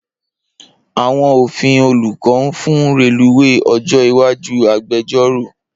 Awọn Ofin Oluko nfun reluwe ojo iwaju agbẹjọro